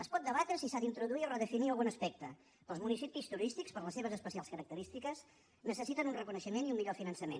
es pot debatre si s’ha d’introduir o redefinir algun aspecte però els municipis turístics per les seves especials característiques necessiten un reconeixement i un millor finançament